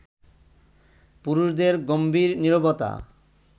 পুরুষদের গম্ভীর নীরবতা